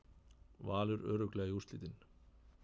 Valur örugglega í úrslitin